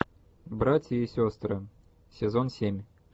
братья и сестры сезон семь